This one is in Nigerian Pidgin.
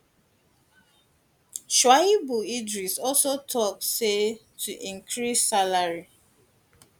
shuaibu idris also tok say to increase salary